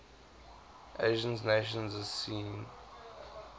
asian nations asean